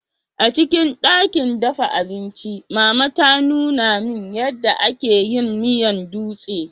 Acikin dakin dafa abinci, mama ta Nuna min, ya da ake yin miyan dutse.